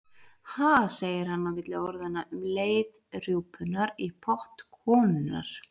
Ha, segir hann inn á milli orðanna um leið rjúpunnar í pott konunnar.